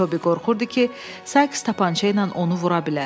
Tobi qorxurdu ki, Sayks tapança ilə onu vura bilər.